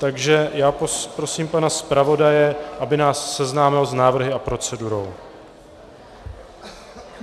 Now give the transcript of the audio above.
Takže já poprosím pana zpravodaje, aby nás seznámil s návrhy a procedurou.